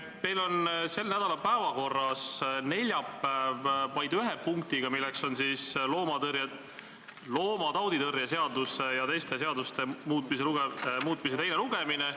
Teil on sel nädalal päevakorras neljapäev vaid ühe punktiga, milleks on loomatauditõrje seaduse ja teiste seaduste muutmise seaduse eelnõu teine lugemine.